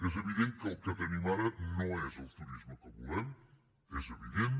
és evident que el que tenim ara no és el turisme que volem és evident